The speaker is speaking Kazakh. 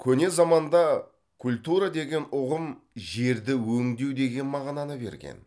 көне заманда культура деген ұғым жерді өңдеу деген мағынаны берген